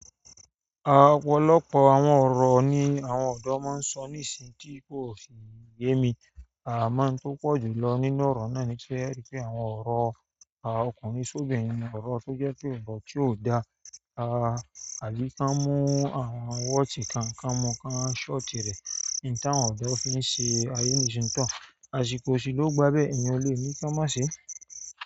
Àpolópo àwọn ọ̀rọ̀ ni àwọn ọ̀dọ́ máa ń sọ́ nísìí tí kò si yẹ́ mi. Àmọ́ ohun tó pọ̀ jù lọ nínú ọ̀rọ̀ náà ti ẹ ri pe àwọn ọ̀rọ̀ ọkùnrin sóbinrin ni, ọ̀rọ̀ tó jẹ́ pé nǹkan tí ò da. A, Ali tanmu, àwọn ọmọ wọ́ọ̀tì káń kánmu kán ṣọ́ọ̀tì rẹ̀. Nta wọn odo fi ṣe ayé jintán. A ṣìkò sì ló gbábẹ́ ẹyan o lè ní ki won o ma ṣe.